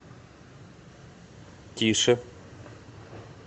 тише